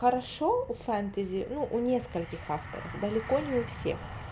хорошо у фэнтези ну у нескольких авторов далеко не у всех